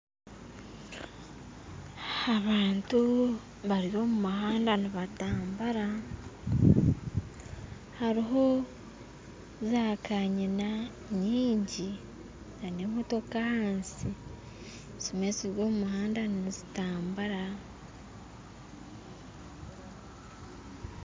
Abantu bari omu muhanda nibatambura hariho zakanyina nyingi nana emotooka ahansi ezimwe ziri omu muhanda nizitambura